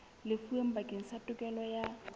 lefuweng bakeng sa tokelo ya